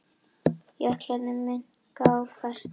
Jöklarnir minnka ár hvert